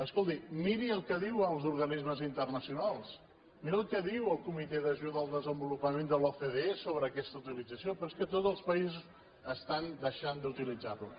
escolti miri el que diuen els organismes internacionals miri el que diu el comitè d’ajuda al desenvolupament de l’ocde sobre aquesta utilització però és que tots els països estan deixant d’utilitzar ho